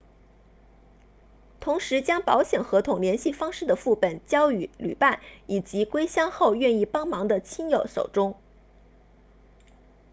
同时将保险合同联系方式的副本交予旅伴以及归乡后愿意帮忙的亲友手中